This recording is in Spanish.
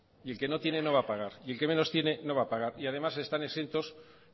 y el que no tiene no va a pagar y el que menos tiene no va a pagar y además están exentos